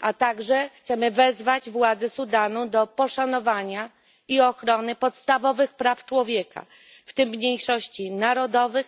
a także chcemy wezwać władze Sudanu do poszanowania i ochrony podstawowych praw człowieka, w praw tym mniejszości narodowych,